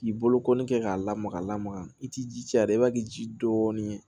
K'i bolokɔni kɛ k'a lamaga lamaga i ti ji a la i b'a k'i ji dɔɔnin